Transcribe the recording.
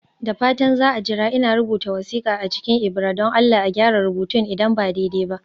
Da fatan za a jira, ina rubuta wasiƙa a cikin ibira (don Allah a gyara rubutun idan ba daidai ba)